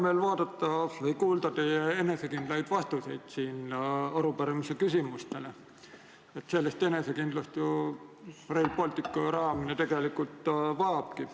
Mul on hea meel kuulda teie enesekindlaid vastuseid arupärimises esitatud küsimustele, sellist enesekindlust Rail Balticu projekt tegelikult vajabki.